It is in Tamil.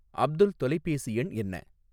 அப்துல் தொலைபேசி எண் என்ன